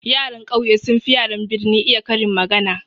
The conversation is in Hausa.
Yaran ƙauye sun fi yaran birni iya karin magana.